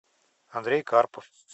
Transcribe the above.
андрей карпов